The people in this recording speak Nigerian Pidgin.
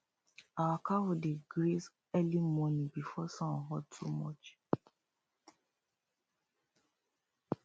our cow dey graze early morning before sun hot too much